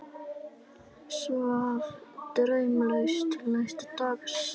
Svaf draumlaust til næsta dags.